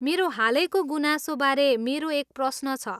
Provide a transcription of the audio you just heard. मेरो हालैको गुनासोबारे मेरो एक प्रश्न छ।